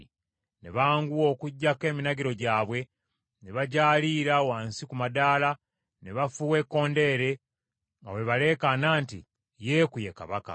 Ne banguwa okuggyako eminagiro gyabwe, ne bagyaliira wansi ku madaala, ne bafuuwa ekkondeere, nga bwe baleekaana nti, “Yeeku ye kabaka.”